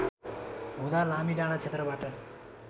हुँदा लामीडाँडा क्षेत्रबाट